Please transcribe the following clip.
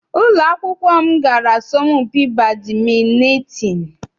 Ụlọ akwụkwọ m gara asọmpi badịmịntịn.